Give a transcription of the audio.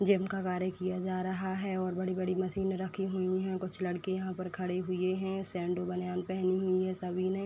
Gym का कार्य किया जा रहा है और बड़ी-बड़ी मशीन रखी हुई हैं। कुछ लड़के यहाँ पर खड़े हुए हैं। सैंडो बनियान पहनी हुई हैं सभी ने।